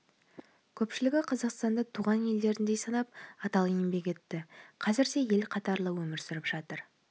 көпшілігі қазақстанды туған елдеріндей санап адал еңбек етті қазір де ел қатарлы өмір сүріп жатыр